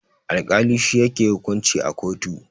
Alkali shi yake hukunci a kotu.